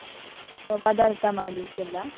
ಪದಾರ್ಥ ಮಾಡ್ಲಿಕ್ಕೆಲ್ಲ?